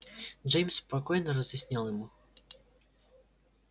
джеймс спокойно разъяснил ему